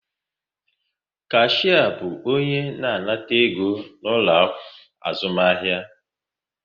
Kashia bu onye na-anata ego n'ulo azumahia